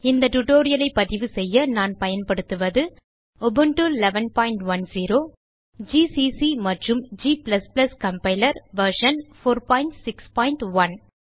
இந்த tutorialஐ பதிவுசெய்ய நான் பயன்படுத்துவதுUbuntu 1110 ஜிசிசி மற்றும் g கம்பைலர் வெர்ஷன் 461